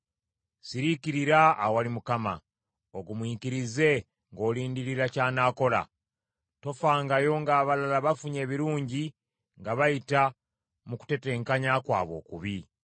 Siriikirira awali Mukama , ogumiikirize ng’olindirira ky’anaakola. Tofangayo ng’abalala bafunye ebirungi nga bayita mu kutetenkanya kwabwe okubi.